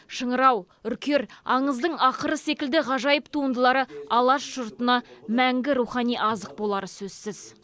шыңырау үркер аңыздың ақыры секілді ғажайып туындылары алаш жұртына мәңгі рухани азық болары сөзсіз